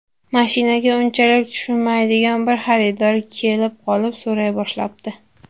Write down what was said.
Mashinaga unchalik tushunmaydigan bir xaridor kelib qolib so‘ray boshlabdi.